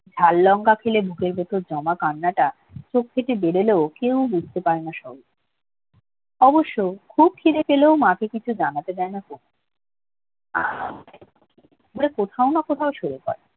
ঝাল লঙ্কা খেলেও বুকের ভিতর জমা কান্নাটা চোখের উপর বেরিয়ে আসলেও কেউ বুঝতে পারে না সব অবশ্য খুব খিদে পেলেও মাকে কিছু জানাতে চায় না কুমু কোথাও না কোথাও সরে পড়ে